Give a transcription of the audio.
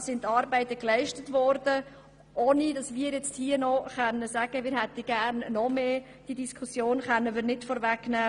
Die Auseinandersetzung, die wir in den nächsten Monaten führen werden, können wir nicht vorwegnehmen.